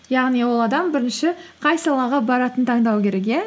яғни ол адам бірінші қай салаға баратынын таңдау керек иә